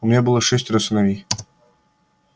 у меня было шестеро сыновей